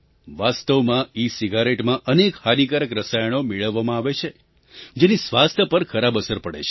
વાસ્તવમાં ઇસિગારેટમાં અનેક હાનિકારક રસાયણો મેળવવામાં આવે છે જેની સ્વાસ્થ્ય પર ખરાબ અસર પડે છે